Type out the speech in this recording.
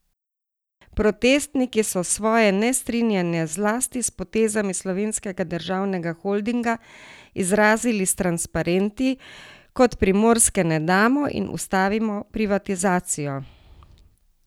Protestniki so svoje nestrinjanje zlasti s potezami Slovenskega državnega holdinga izrazili s transparenti, kot Primorske ne damo in Ustavimo privatizacijo!